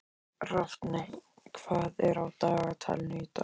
Rafney, hvað er á dagatalinu í dag?